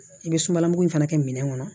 I bɛ sumalan mugu in fana kɛ minɛn kɔnɔ